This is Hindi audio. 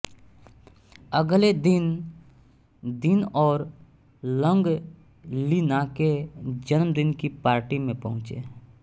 अगले दिन दीन और लॉन्ग ली ना के जन्मदिन की पार्टी में पहुंचे